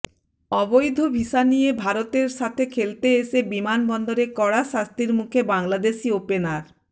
অবৈধ ভিসা নিয়ে ভারতের সাথে খেলতে এসে বিমানবন্দরে কড়া শাস্তির মুখে বাংলাদেশি ওপেনার